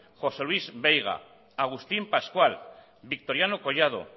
josé luis veiga agustín pascual victoriano collado